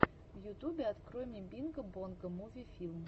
в ютубе открой мне бинго бонго муви филм